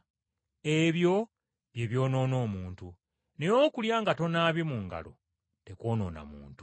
Ebyo bye byonoona omuntu, naye okulya nga tonaabye mu ngalo, tekwonoona muntu.”